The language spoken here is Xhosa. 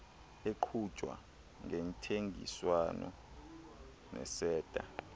eqhutywa ngentseenziswano neseta